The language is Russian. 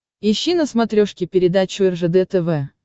ищи на смотрешке передачу ржд тв